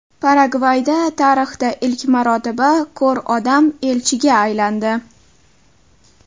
Paragvayda tarixda ilk marotaba ko‘r odam elchiga aylandi.